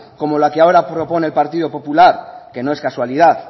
como la que ahora propone el partido popular que no es casualidad